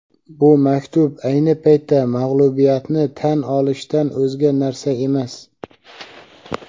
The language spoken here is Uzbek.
Bu maktub – ayni paytda mag‘lubiyatni tan olishdan o‘zga narsa emas.